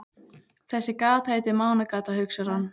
Þessi gata heitir Mánagata, hugsar hann.